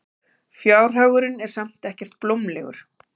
Fjárhagurinn er samt ekkert blómlegur.